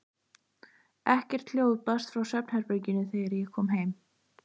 Ekkert hljóð barst frá svefnherberginu þegar ég kom heim.